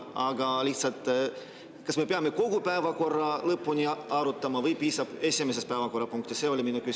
Aga kas me ikkagi peame kogu päevakorra lõpuni arutama või piisab esimesest päevakorrapunktist?